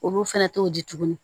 Olu fɛnɛ t'o di tuguni